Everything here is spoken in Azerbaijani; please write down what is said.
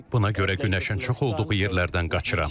Buna görə günəşin çox olduğu yerlərdən qaçıram.